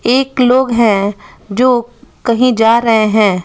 एक लोग हैं जो कहीं जा रहे हैं।